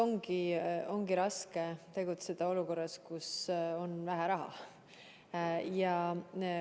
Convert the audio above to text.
Eks ongi raske tegutseda olukorras, kus on vähe raha.